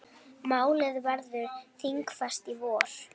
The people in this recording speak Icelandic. Málið verður þingfest í vor.